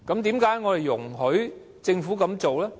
為何我們要容許政府這樣做？